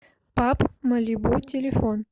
паб малибу телефон